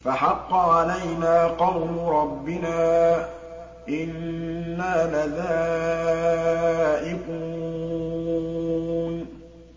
فَحَقَّ عَلَيْنَا قَوْلُ رَبِّنَا ۖ إِنَّا لَذَائِقُونَ